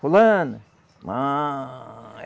Fulana. Muuu